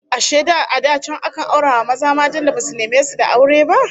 Ashe a da can akan aura wa maza matan da basu neme su da aure ba?